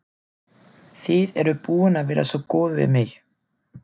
Þið eruð búin að vera svo góð við mig.